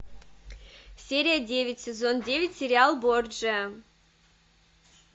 серия девять сезон девять сериал борджиа